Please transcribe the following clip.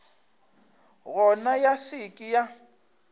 gona ya se ke ya